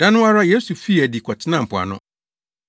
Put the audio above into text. Da no ara Yesu fii adi kɔtenaa mpoano.